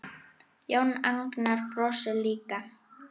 Jón Agnar brosir líka.